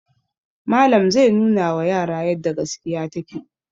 Malam zai nunawa yara yadda gaskiya take.